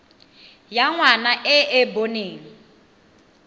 ya ngwana e e boneng